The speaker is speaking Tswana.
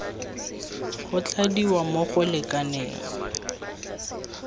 go tladiwa mo go lekaneng